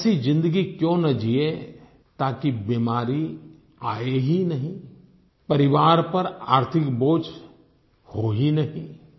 हम ऐसी जिन्दगी क्यों न जियें ताकि बीमारी आये ही नहीं परिवार पर आर्थिक बोझ हो ही नहीं